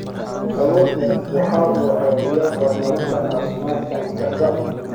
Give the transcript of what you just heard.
Kalluunku waxa uu caawiyaa horumarinta caafimaadka maskaxda.